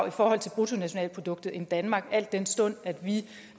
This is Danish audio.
i forhold til bruttonationalproduktet end danmark al den stund